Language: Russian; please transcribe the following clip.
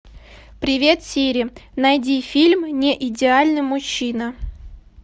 привет сири найди фильм неидеальный мужчина